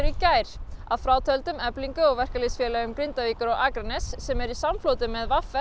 í gær að frátöldum Eflingu og verkalýðsfélögum Grindavíkur og Akraness sem eru í samfloti með v